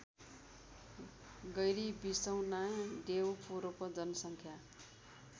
गैरीबिसौना देउपुरको जनसङ्ख्या